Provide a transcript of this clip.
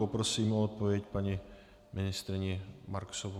Poprosím o odpověď paní ministryni Marksovou.